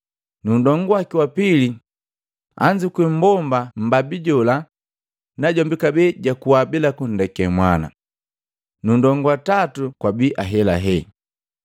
Nndonguwaki wa pili anzukua mbomba mmbabi jola, najombi kabee jakuwa bila kundeka mwana, nundongu wa tatu kwabii ahelahe.